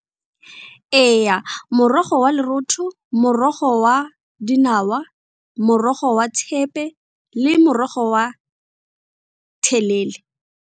Ee, morogo wa lorotho, morogo wa dinawa, morogo wa thepe le morogo wa thelele.